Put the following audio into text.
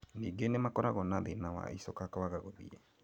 Ningĩ nĩmakoragwo na thĩna wa icoka kwaga gũthiĩ